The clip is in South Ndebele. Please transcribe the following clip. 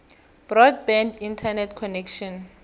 broadband internet connection